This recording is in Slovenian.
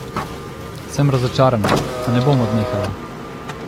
Sem razočarana, a ne bom odnehala.